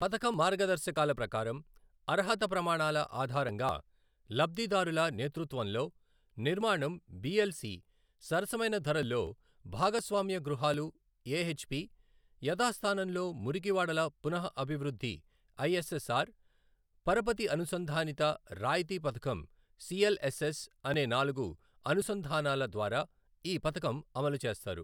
పథకం మార్గదర్శకాల ప్రకారం అర్హత ప్రమాణాల ఆధారంగా లబ్ధిదారుల నేతృత్వంలో నిర్మాణం బిఎల్సి, సరసమైన ధరల్లో భాగస్వామ్య గృహాలు ఎహెచ్పి, యధాస్థానంలో మురికివాడల పునఃఅభివృద్ధి ఐఎస్ఎస్ఆర్, పరపతి అనుసంధానిత రాయితీ పథకం సిఎల్ఎస్ఎస్ అనే నాలుగు అనుసంధానాల ద్వారా ఈ పథకం అమలు చేస్తారు.